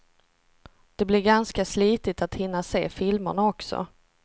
Det blir ganska slitigt att hinna se filmerna också.